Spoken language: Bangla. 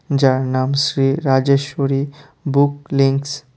যার নাম শ্রী রাজেশ্বরী বুক লিংকস ।